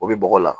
O bɛ bɔgɔ la